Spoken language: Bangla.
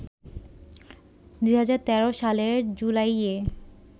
২০১৩ সালের জুলাইয়ে